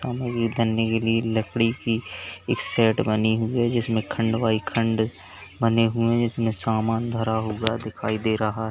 लकड़ी की एक सेट बनी हुई है जिसमें खंड बाई खंड बने हुए हैं जिसमें सामान भरा हुआ दिखाई दे रहा है।